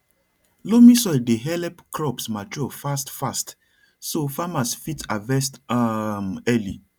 loamy soil dey help crops mature fast fast so farmers fit harvest um early